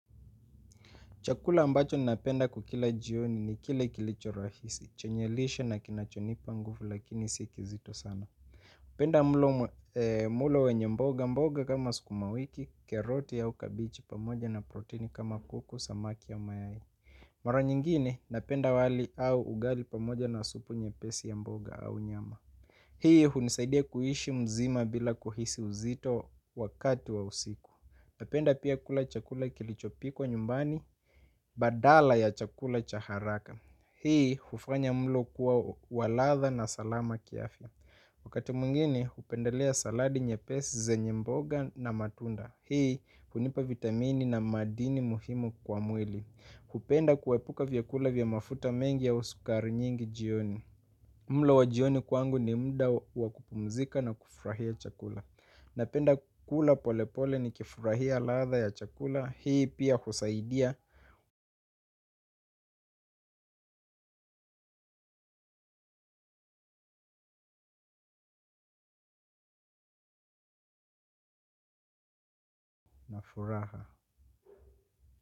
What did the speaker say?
Chakula ambacho napenda kukila jioni ni kile kilicho rahisi. Chenyelishe na kinachonipa nguvu lakini si ki zito sana. Penda mlo wenye mboga mboga kama sukuma wiki, keroti au kabichi pamoja na proteini kama kuku, samaki au mayai. Mara nyingine napenda wali au ugali pamoja na supu nye pesi ya mboga au nyama. Hii hunisaidia kuishi mzima bila kuhisi uzito wakati wa usiku. Napenda pia kula chakula kilichopikwa nyumbani, badala ya chakula chaharaka. Hii, hufanya mlo kuwa waladha na salama kiafya. Wakati mwingine, hupendelea saladi nye pesi, zenye mboga na matunda. Hii hunipa vitamini na madini muhimu kwa mwili hupenda kuepuka vyakula vya mafuta mengi au sukari nyingi jioni. Mlo wa jioni kwangu ni mda wakupumzika na kufrahia chakula. Napenda kula polepole ni kifurahia ladha ya chakula. Hii pia husaidia furaha.